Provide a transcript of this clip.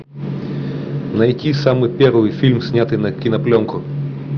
найти самый первый фильм снятый на кинопленку